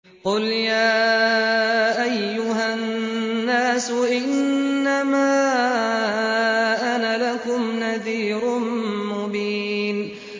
قُلْ يَا أَيُّهَا النَّاسُ إِنَّمَا أَنَا لَكُمْ نَذِيرٌ مُّبِينٌ